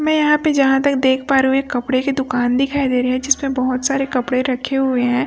मैं यहां पे जहां तक देख पा रही हूं एक कपड़े की दुकान दिखाई दे रहे हैं जिसमें बहुत सारे कपड़े रखे हुए हैं।